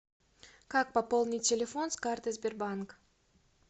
как пополнить телефон с карты сбербанк